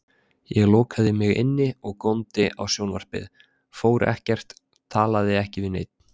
Ég lokaði mig inni og góndi á sjónvarpið, fór ekkert, talaði ekki við neinn.